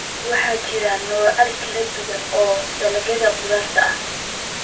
Waxaa jira noocyo kala duwan oo dalagyada khudradda ah.